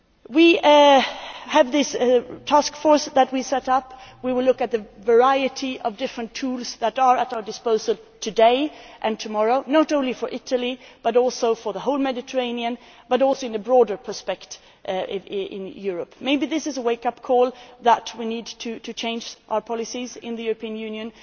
We have this task force that we set up. We will look at the variety of different tools that are at our disposal today and tomorrow, not only for Italy but also for the whole Mediterranean, and in a broader perspective in Europe. Maybe this is the wake up call that we need in order to change our policies in the European Union.